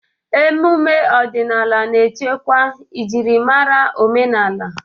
Ememe ọdịnala na-echekwa njirimara omenala.